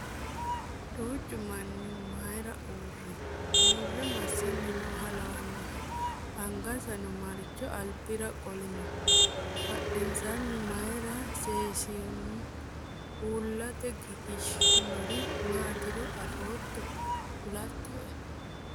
Duuchu manni mayiira uurri? Uurre massanni nooha lawannohe? Angansano mayiira alibira qo'linno? Badhiidonsa mayiira seesinsoyi? Uullate giggishinoyiirino maatiro afootto kulatto'e?